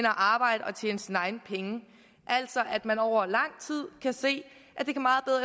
arbejde og tjene sine egne penge altså at man over lang tid kan se